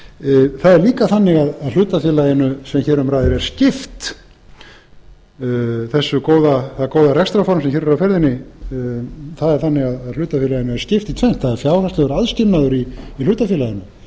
er líka þannig að hlutafélaginu sem hér um ræðir er skipt það góða rekstrarform sem hér er á ferðinni er þannig að hlutafélaginu er skipt í tvennt það er fjárhagslegur aðskilnaður í hlutafélaginu